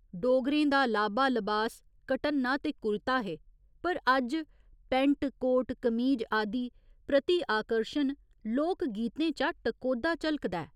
डोगरें दा लाबा लबास घटन्ना ते कुरता हे पर अज्ज पैंट, कोट, कमीज आदि प्रति आकर्शन लोक गीतें चा टकोह्दा झलकदा ऐ।